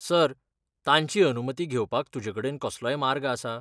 Sir, तांची अनुमती घेवपाक तुजेकडेन कसलोय मार्ग आसा?